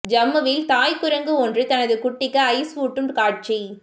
ஜம்முவில் தாய் குரங்கு ஒன்று தனது குட்டிக்கு ஐஸ் ஊட்டும் காட்சி